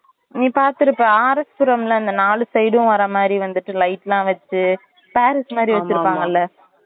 நீ பாத்துருப்ப RS புறம்ல இந்த நாலு side உம் வர்ற மாறி வந்துட்டு இந்த light லாம் வச்சு paris மாறிலாம் வச்சிருக்காங்கல